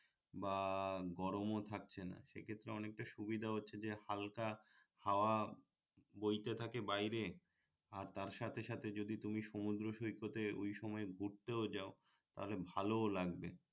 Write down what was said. বা গরমও থাকছেনা সেইক্ষেত্রে অনেকটা সুবিধা হচ্ছে যে হালকা হাওয়া বইতে থাকে বাইরে আর তার সাথে সাথে যদি তুমি সমুদ্র সৈকতে ঐ সময়ে ঘুরতেও যাও তাহলে ভালোও লাগবে